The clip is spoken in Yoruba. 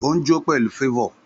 Ó ń jó pẹ̀lú favour